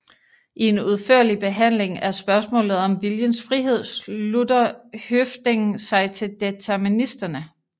I en udførlig behandling af spørgsmålet om viljens frihed slutter Høffding sig til deterministerne